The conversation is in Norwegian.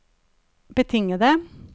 betingede